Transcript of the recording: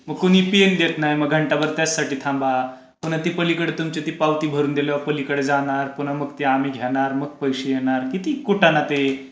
मग कोणी पेन देत नाही. मग घंटा भर त्यासाठी थांबा. पुन्हा ते पलीकडे तुमची ती पावती भरून दिल्यावर ते पलीकडे जाणार. पुन्हा मग ते आम्ही घेणार मग ते पैसे येणार किती कुटाणा ते.